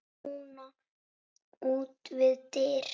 Rúna út við dyr.